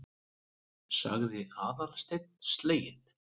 sagði Aðalsteinn sleginn.